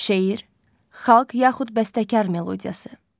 Şeir, xalq yaxud bəstəkar melodiyası.